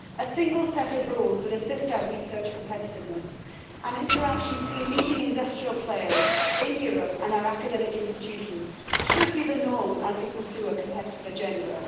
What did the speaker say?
A single set of rules would assist our research competitiveness, and interaction between leading industrial players in Europe and our academic institutions should be the norm as we pursue a competitive agenda.